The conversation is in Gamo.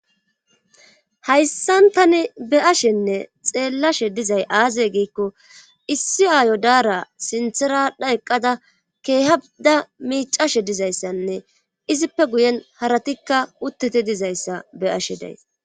hayssan tani beashenne xeellashe dizay aaze giikko issi aayo daara sinthera adha eqqada keehada miicashe dizayssanne izippe guyen haratikka uttete dizayssa be ashe daysi